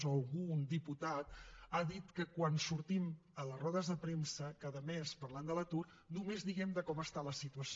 o algun diputat ha dit que quan sortim a les rodes de premsa cada mes parlant de l’atur només diem com està la situació